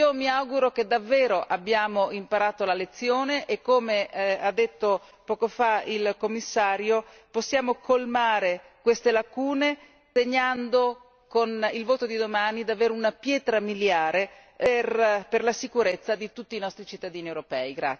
Mi auguro che davvero abbiamo imparato la lezione e come ha detto poco fa il Commissario possiamo colmare queste lacune segnando con il voto di domani davvero una pietra miliare per la sicurezza di tutti i cittadini europei.